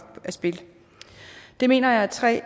af spil det mener jeg er tre